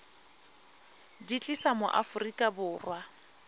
di tlisa mo aforika borwa